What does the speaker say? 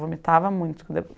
Vomitava muito quando eu